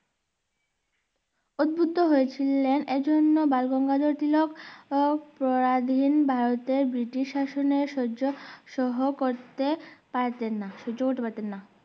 অদ্ভুদ্ধ হয়ে ছিলেন এই জন্য বালগঙ্গাধর তিলক পরাধীন ভারতে ব্রিটিশ শাসনে সহ্য সহ করতে পারতেন না সহ্য করতে পারতেন না।